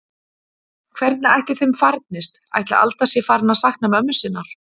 Hvernig ætli þeim farnist, ætli Alda sé farin að sakna mömmu sinnar?